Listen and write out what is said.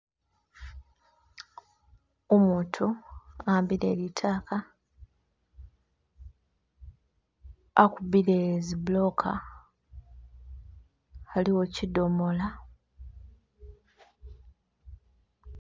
Umutu a'ambile litaaka akubile zi buloka aliwo chi chi domoola